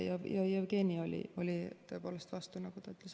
Jevgeni oli tõepoolest vastu, nagu ta ütles.